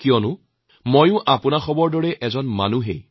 কাৰণ মইওতো আপোনালোকৰ দৰেই মানুহ